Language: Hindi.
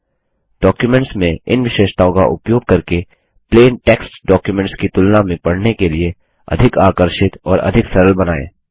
डॉक्युमेंट्स में इन विशेषताओं का उपयोग करके प्लेन टेक्स्ट डॉक्युमेंट्स की तुलना में पढ़ने के लिए अधिक आकर्षित और अधिक सरल बनाएँ